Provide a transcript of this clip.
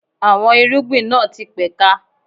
Àwọn irúgbìn náà ti pẹ̀ka.